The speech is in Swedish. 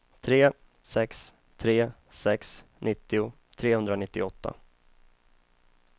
tre sex tre sex nittio trehundranittioåtta